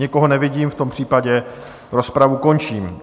Nikoho nevidím, v tom případě rozpravu končím.